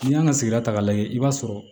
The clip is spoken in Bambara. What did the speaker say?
N'i y'an ka sigida k'a lajɛ i b'a sɔrɔ